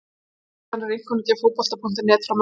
Hér að neðan er einkunnagjöf Fótbolta.net frá Möltu.